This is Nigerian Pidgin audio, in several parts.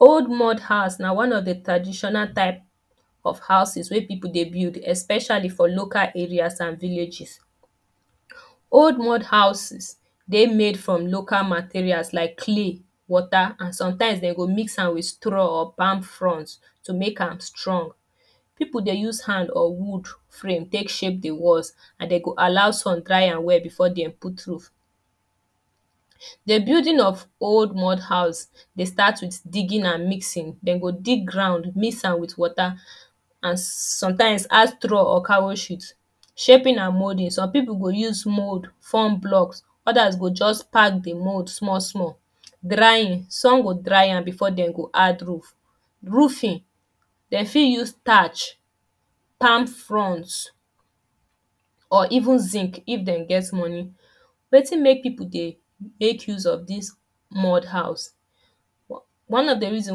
Old mud house na one of the traditional type of houses wey people dey build especially for local areas and villages. Old mud houses dey made from local materials like clay, water and sometimes dem go mix am with straw or palm font to make am strong. People dey use hand or wood frame take shape the walls and they go allow sun dry am well before dem put roof. The building of old mud house, dey start with digging and mixing. Dem go dig ground, mix am with water and sometimes add straw or cow sheet. Shaping and moulding. Some people go use mould form block, others go just pack the mould small small. Drying. Some go dry am before dem go add roof. Roofing: They fit use tatch, palm fonts or even zinc if dem get money. Wetin make people dey make use of dis mud house? One on the reason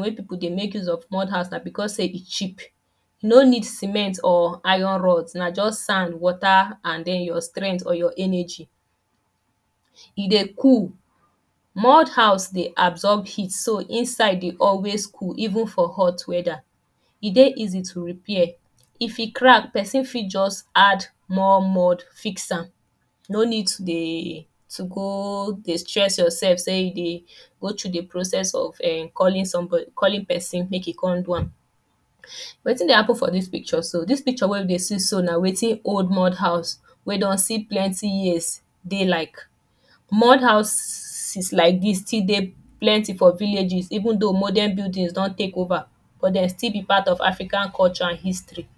wey people dey make use of mud house na because sey e cheap. You no need cement or iron rod. Na just sand, water and en your strenght or energy. E dey cool. Mud house dey absorb heat. So, inside dey always cool even for hot weather. E dey easy to repair. E fit crack, person fit just add more mud, fix am. No need to dey to go dey stress yourself sey you dey go through the process of ern calling somebody calling person make e con do am. Urh wetin dey happen for dis picture so? Dis picture wey you dey see so, na wetin old mud house wey don see plenty years dey like. Mud houses like dis stil dey plenty for villages even though modern buildings don take over. But de still be part of african culture and history.